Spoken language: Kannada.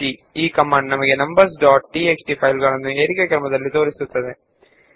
ಇದು ನಮ್ಮ ನಂಬರ್ಸ್ ಡಾಟ್ ಟಿಎಕ್ಸ್ಟಿ ನ್ನು ಏರಿಕೆ ಕ್ರಮದಲ್ಲಿ ಜೋಡಿಸುತ್ತದೆ